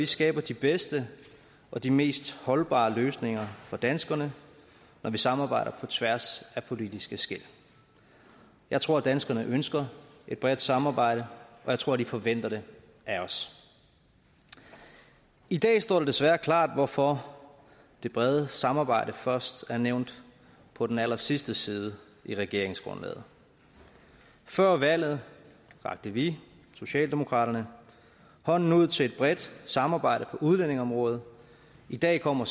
skaber de bedste og de mest holdbare løsninger for danskerne når vi samarbejder på tværs af politiske skel jeg tror at danskerne ønsker et bredt samarbejde og jeg tror at de forventer det af os i dag står det desværre klart hvorfor det brede samarbejde først er nævnt på den allersidste side i regeringsgrundlaget før valget rakte vi socialdemokraterne hånden ud til et bredt samarbejde på udlændingeområdet i dag kommer